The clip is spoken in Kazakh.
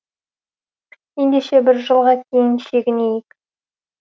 ендеше бір жылға кейін шегінейік